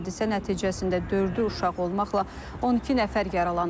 Hadisə nəticəsində dördü uşaq olmaqla 12 nəfər yaralanıb.